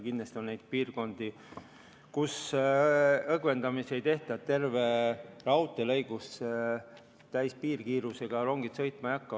Kindlasti on neid piirkondi, kus õgvendamisi ei tehta, kogu raudteel täispiirkiirusega rongid sõitma ei hakka.